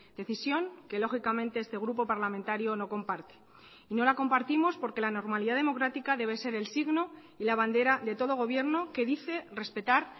decisión que lógicamente este grupo parlamentario no comparte y no la compartimos porque la normalidad democrática debe ser el signo y la bandera de todo gobierno que dice respetar